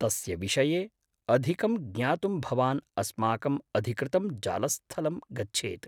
तस्य विषये अधिकं ज्ञातुं भवान् अस्माकम् अधिकृतं जालस्थलं गच्छेत्।